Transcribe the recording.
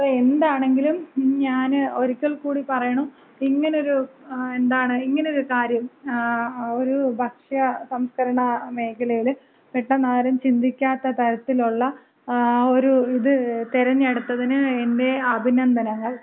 അപ്പോ എന്താണെങ്കിലും ഞാന് ഒരിക്കൽ കൂടി പറയണു. ഇങ്ങനെ ഒര് എന്താണ് ഇങ്ങനെ ഒര് കാര്യം, ഒര് ഭക്ഷ്യ സംസ്കരണ മേഖലയില് പെട്ടന്നാരും ചിന്തിക്കാത്ത തരത്തിലുള്ള ഒരു ഇത് തെരഞ്ഞെടുത്തതിന് എന്‍റെ അഭിനന്ദനങ്ങൾ.